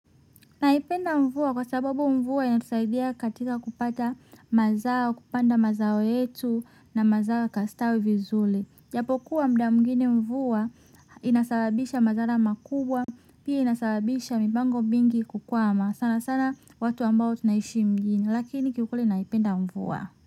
Naipenda mvua kwa sababu mvua inatusaidia katika kupata mazao, kupanda mazao yetu na mazao kastawi vizuri. Japokuwa muda mwingine mvua inasababisha madhara makubwa, pia inasababisha mipango mingi kukwama. Sanasana watu ambao tunaishi mjini, lakini kiukweli naipenda mvua.